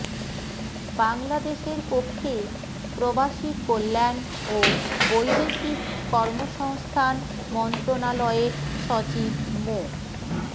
বাংলাদেশের পক্ষে প্রবাসী কল্যাণ ও বৈদেশিক কর্মসংস্থান মন্ত্রণালয়ের সচিব মো